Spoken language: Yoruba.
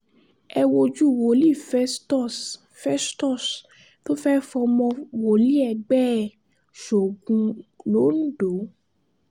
ẹ wojú wòlíì festus festus tó fẹ́ẹ̀ fọmọ wòlíì ẹgbẹ́ ẹ̀ sóògùn londo